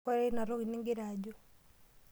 Koree ina toki nigira ajo?